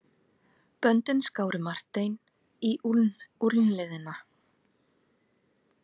Böndin skáru Martein í úlnliðina.